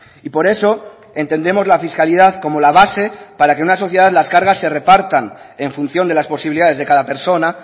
y por eso entendemos la fiscalidad como la base para que en una sociedad las cargas se repartan en función de las posibilidades de cada persona